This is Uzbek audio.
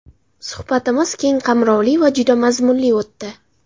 Suhbatimiz keng qamrovli va juda mazmunli o‘tdi.